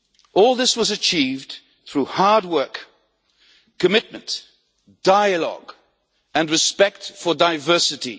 All this was achieved through hard work, commitment, dialogue and respect for diversity.